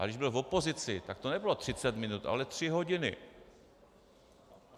Ale když byl v opozici, tak to nebylo třicet minut, ale tři hodiny.